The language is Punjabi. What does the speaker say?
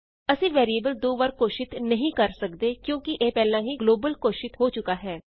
ਅਸੀਂ ਵੈਰੀਏਬਲ ਦੋ ਵਾਰ ਘੋਸ਼ਿਤ ਨਹੀਂ ਕਰ ਸਕਦੇ ਕਿਉਂਕਿ ਇਹ ਪਹਿਲਾਂ ਹੀ ਗਲੋਬਲ ਘੋਸ਼ਿਤ ਹੋ ਚੁੱਕਾ ਹੈ